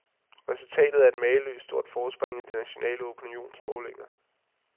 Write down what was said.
Resultatet er et mageløst stort forspring i de nationale opinionsmålinger.